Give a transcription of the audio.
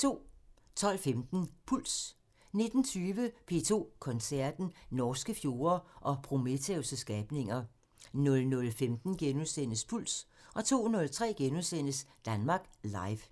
12:15: Puls 19:20: P2 Koncerten – Norske fjorde og Prometheus' skabninger 00:15: Puls * 02:03: Danmark Live *